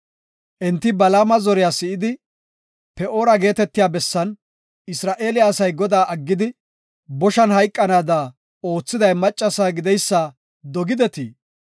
Enti Balaama zoriya si7idi, Pe7oora geetetiya bessan Isra7eele asay Godaa aggidi, boshan hayqanaada oothiday maccasa gideysa dogidetii?